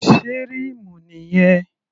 Sé rímù nìyẹn?